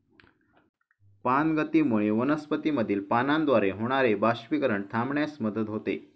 पानगतीमुळे वनस्पतीमधील पानाद्वारे होणारे बाष्पीकरण थांबण्यास मदत होते.